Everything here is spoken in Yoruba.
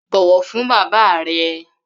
Bọ̀wọ̀ fún bàbá rẹ!